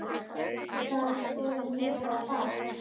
Hvaða skoðun hefurðu á Val?